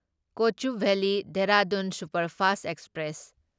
Kochuveli Dehradun superfast express